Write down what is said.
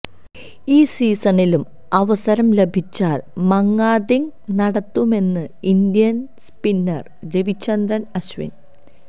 ഈ സീസണിലും അവസരം ലഭിച്ചാല് മങ്കാദിംഗ് നടത്തുമെന്ന് ഇന്ത്യന് സ്പിന്നര് രവിചന്ദ്രന് അശ്വിന്